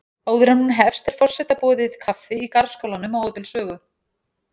Áður en hún hefst er forseta boðið kaffi í garðskálanum á Hótel Sögu.